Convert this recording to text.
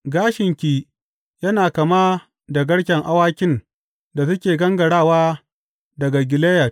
Gashinki yana kama da garken awakin da suke gangarawa daga Gileyad.